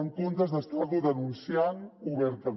en comptes d’estar lo denunciant obertament